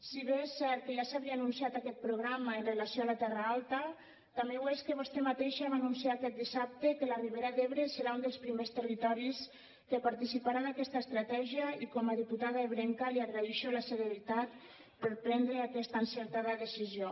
si bé és cert que ja s’havia anunciat aquest programa amb relació a la terra alta també ho és que vostè mateixa va anunciar aquest dissabte que la ribera d’ebre serà un dels primers territoris que participarà d’aquesta estratègia i com a diputada ebrenca li agraïxo la celeritat per prendre aquesta encertada decisió